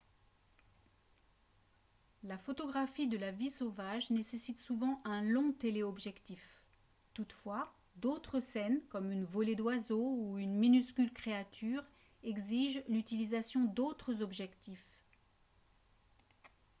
la photographie de la vie sauvage nécessite souvent un long téléobjectif toutefois d'autres scènes comme une volée d'oiseaux ou une minuscule créature exigent l'utilisation d'autres objectifs